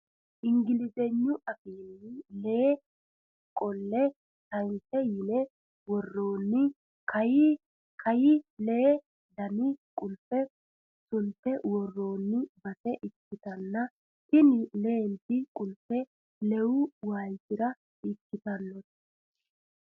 Ingilizignu afiinni alee qolle keys yine woroonmi kayii lee dani qulife sunte worroonni base ikkitanna tini leenti kulfe leewu waalichira ikkitannote